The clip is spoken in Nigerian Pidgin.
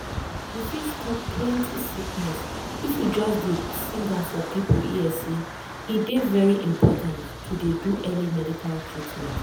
we fit stop plenty sickness if we just dey sing am for people ear say e dey very important to dey do early medical treatment.